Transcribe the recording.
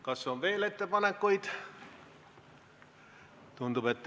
Kas on veel ettepanekuid?